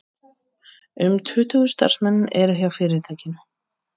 Um tuttugu starfsmenn eru hjá fyrirtækinu